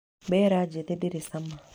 Mbera njĩthĩ ndĩrĩ cama.